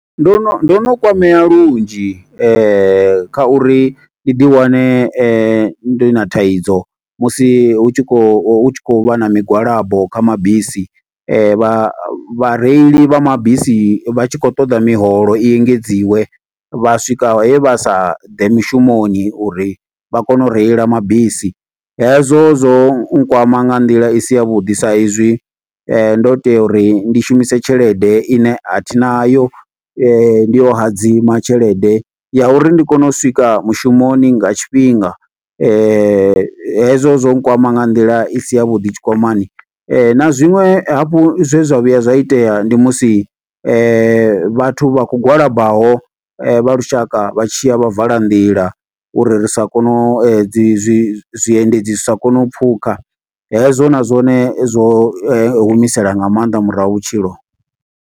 Ndo no, ndo no kwamea lunzhi kha uri ndi ḓi wane ndi na thaidzo. Musi hu tshi khou, hu tshi khou vha na migwalabo kha mabisi. Vha vhareili vha mabisi vha tshi khou ṱoḓa miholo, i engedziwe. Vha swika he vha sa ḓe mishumoni uri vha kone u reila mabisi. Hezwo zwo kwama nga nḓila i si ya vhuḓi, sa izwi ndo tea uri ndi shumise tshelede ine athi nayo. Ndi yo hadzima tshelede ya uri ndi kone u swika mushumoni nga tshifhinga. Hezwo zwo kwama nga nḓila i si ya vhuḓi tshikwamani. Na zwinwe hafhu zwe zwa vhuya zwa itea ndi musi vhathu vha khou gwalabaho, vha lushaka vha tshiya vha vala nḓila, uri ri sa kono, uri dzi zwi zwiendedzi zwi sa kone u pfukha. Hezwo na zwone zwo humisela nga maanḓa murahu vhutshilo.